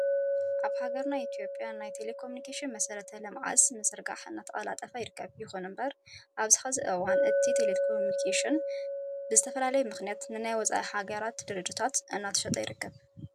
ኣብ ሃገርና ኢትዮጵያ ናይ ቴሌኮሚኒኬሽን መሰረተ ልምዓትምዝርጓሕ እናተቀላጠፈ ይርከብ። ይኹን እምበር ኣብዚ ሕዚ እዋን እቲ ቴሌኮሚኒኬሽን ብዝተፈላለዩ ምኽንያታት ንናይ ወፃኢ ሀገራት ድርጅታት እናተሸጠ ይርከብ።